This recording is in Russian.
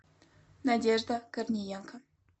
надежда корниенко